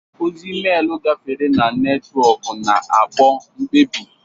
Ozi emeelu gafere na netwọkụ, na-akpụ mkpebi.